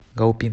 гаопин